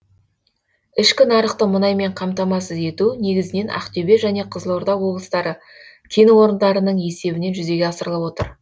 ішкі нарықты мұнаймен қамтамасыз ету негізінен ақтөбе және қызылорда облыстары кен орындарының есебінен жүзеге асырылып отыр